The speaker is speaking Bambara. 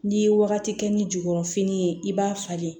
N'i ye wagati kɛ ni jukɔrɔfini ye i b'a falen